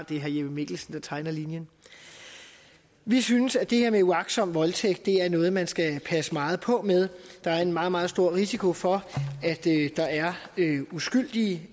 det er herre jeppe mikkelsen der tegner linjen vi synes at det her med uagtsom voldtægt er noget man skal passe meget på med der er en meget meget stor risiko for at der er uskyldige